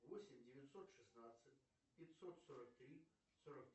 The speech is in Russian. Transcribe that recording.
восемь девятьсот шестнадцать пятьсот сорок три сорок